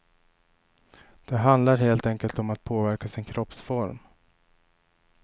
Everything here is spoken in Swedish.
Det handlar helt enkelt om att påverka sin kroppsform.